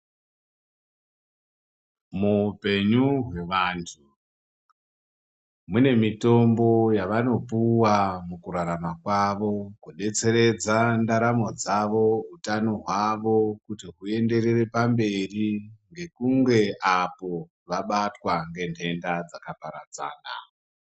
Muhupenyu vevantu mune mitombo yavanopuwa mukurarama kwavo kudetseredza ndaramo dzavo hutano hwavo kuti huenderere pamberi nekunge apo vabatwa nenhenda dzakaparadzana.